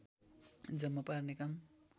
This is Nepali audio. जम्मा पार्ने काम